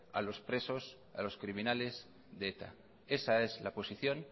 a los presos a los criminales de eta esa es la posición